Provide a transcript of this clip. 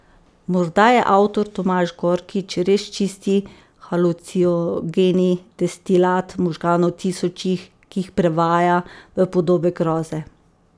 Morda je avtor Tomaž Gorkič res čisti halucinogeni destilat možganov tisočih, ki jih prevaja v podobe groze.